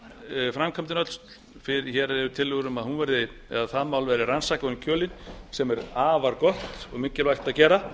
icesave framkvæmdin öll hér eru tillögur um að hún verði eða það mál verði rannsakað ofan í kjölinn sem er afar gott og mikilvægt að gera